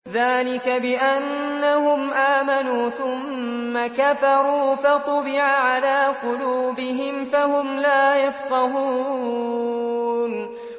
ذَٰلِكَ بِأَنَّهُمْ آمَنُوا ثُمَّ كَفَرُوا فَطُبِعَ عَلَىٰ قُلُوبِهِمْ فَهُمْ لَا يَفْقَهُونَ